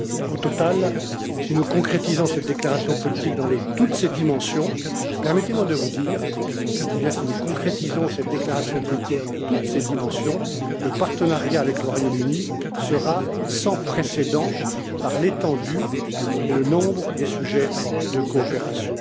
Au total, si nous concrétisons cette déclaration politique dans toutes ces dimensions, permettez moi de vous dire et je dis bien si nous concrétisons cette déclaration politique dans toutes ces dimensions le partenariat avec le Royaume Uni sera sans précédent par l'étendue et le nombre des sujets de coopération.